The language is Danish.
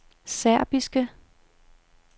serbiske